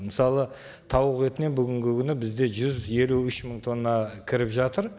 мысалы тауық етінен бүгінгі күні бізде жүз елу үш мың тонна кіріп жатыр